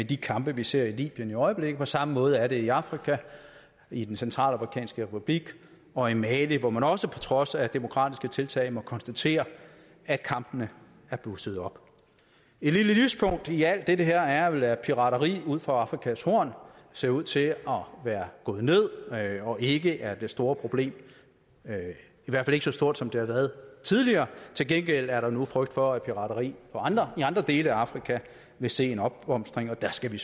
de kampe vi ser i libyen i øjeblikket på samme måde er det i afrika i den centralafrikanske republik og i mali hvor man også på trods af demokratiske tiltag må konstatere at kampene er blusset op et lille lyspunkt i alt det her er vel at pirateri ud for afrikas horn ser ud til at være gået ned og ikke er det store problem i hvert fald ikke så stort som der har været tidligere til gengæld er der nu frygt for at pirateri i andre dele af afrika vil se en opblomstring og der skal vi